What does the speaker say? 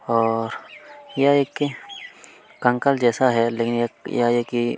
--और यह एक कंकाल जैसा है लेकिन यह है कि --